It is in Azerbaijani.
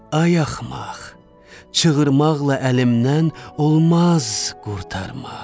Ay axmaq, çığırmaqla əlimdən olmaz qurtarmaq.